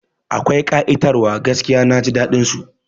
Akwai ƙa'itar wa gaskiya, Naji daɗin su